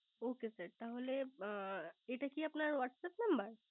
ওকে sir এটা কি আপনার Whatsapp Number